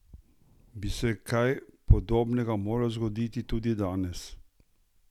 Bi se kaj podobnega moralo zgoditi tudi danes?